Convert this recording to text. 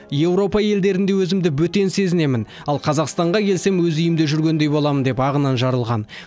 еуропа елдерінде өзімді бөтен сезінемін ал қазақстанға келсем өз үйімде жүргендей боламын деп ағынан жарылған